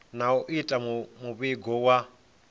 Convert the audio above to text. na u ita muvhigo wa